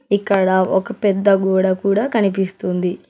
ఇక్కడ ఒక పెద్ద గోడ కూడా కనిపిస్తుంది.